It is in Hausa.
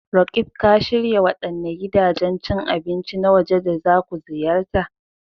Roqeeb, ka shirya waɗanne gidajen cin abinci na waje da za ku ziyarta?